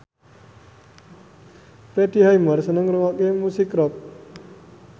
Freddie Highmore seneng ngrungokne musik rock